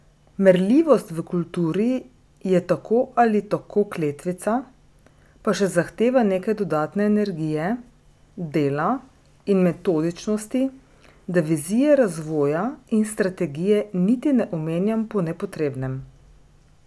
Merljivost v kulturi je tako ali tako kletvica, pa še zahteva nekaj dodatne energije, dela in metodičnosti, da vizije razvoja in strategije niti ne omenjam po nepotrebnem.